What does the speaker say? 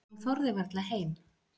Hún þorði varla heim.